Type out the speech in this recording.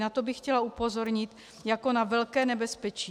Na to bych chtěla upozornit jako na velké nebezpečí.